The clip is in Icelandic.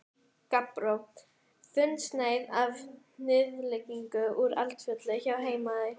Gabbró, þunnsneið af hnyðlingi úr Eldfelli á Heimaey.